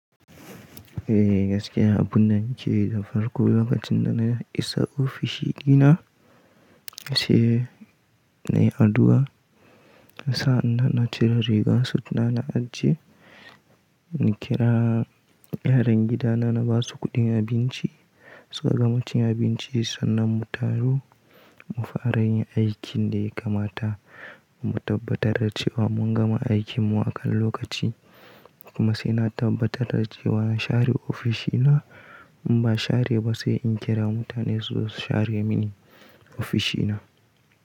Eh gaskiya abun na nce da farko lokacin da na isa ofishina, ashe na yi addu'a na sa'a na cire riga suna na ajiye, na kira yaran gidana na ba su kuɗin abinci suka gama cin abinci sannan mu taru mu fara yin aikin da ya kamata mu tabbatar da cewa mun gama aikin mu a kan lokaci. Kuma sai na tabbatar da cewa na share ofishina in ba share ba sai in kira mutane su share mini ofishina.